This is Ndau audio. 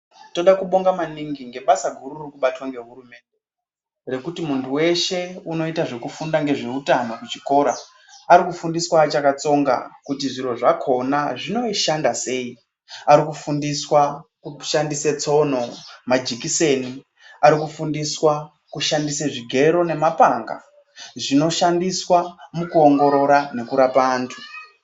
Toda kubonga maningi nebasa ririkuitwa nehurumende yekuti muntu weshe unoita nezvekufunda ngezveutano kuchikora ari kufundiswa achakatsonga kuti zviro zvakona zvinoshanda sei arikufundiswa kushandise tsino majekiseni arikufundiswa kushandisa zvigero nema panga zvinoshandiswa mukuongorora neku rapa antu.